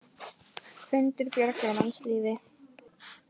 Hundur bjargar mannslífi